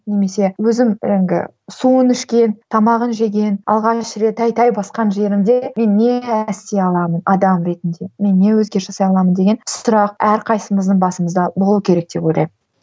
немесе өзім жаңағы суын ішкен тамағын жеген алғаш рет тәй тәй басқан жерімде мен не нәрсе аламын адам ретінде мен не өзгеріс жасай аламын деген сұрақ әрқайсымыздың басымызда болу керек деп ойлаймын